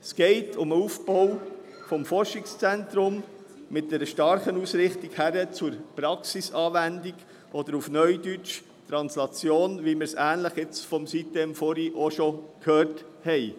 Es geht um den Aufbau eines Forschungszentrums mit starker Ausrichtung hin zur Praxisanwendung oder auf Neudeutsch Translation, ähnlich wie wir es vorhin im Zusammenhang mit sitem-Insel gehört haben.